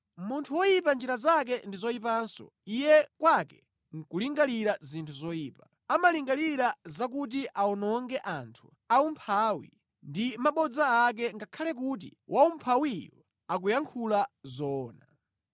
Munthu woyipa njira zake ndi zoyipanso, iye kwake nʼkulingalira zinthu zoyipa. Amalingalira zakuti awononge anthu aumphawi ndi mabodza ake ngakhale kuti waumphawiyo akuyankhula zoona.